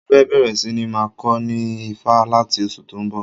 Mo fẹ́ bẹ̀rẹ̀ síní máa kọ ní Ifá láti oṣù tó ń bọ̀